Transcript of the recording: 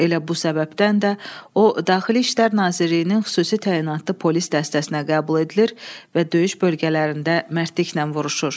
Elə bu səbəbdən də o daxili İşlər Nazirliyinin xüsusi təyinatlı polis dəstəsinə qəbul edilir və döyüş bölgələrində mərdliklə vuruşur.